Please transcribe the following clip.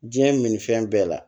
Diɲɛ min ni fɛn bɛɛ la